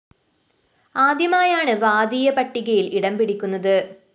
ആദ്യമായാണ് വാദിയ പട്ടികയില്‍ ഇടം പിടിക്കുന്നത്